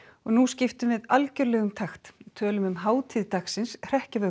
og nú skiptum við algerlega um takt tölum um hátíð dagsins